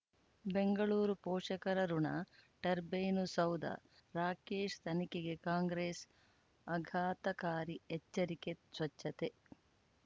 ಬೆಂಗಳೂರು ಪೋಷಕರಋಣ ಟರ್ಬೈನು ಸೌಧ ರಾಕೇಶ್ ತನಿಖೆಗೆ ಕಾಂಗ್ರೆಸ್ ಆಘಾತಕಾರಿ ಎಚ್ಚರಿಕೆ ಸ್ವಚ್ಛತೆ